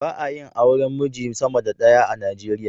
Ba a yin auren miji sama da ɗaya a Najeriya.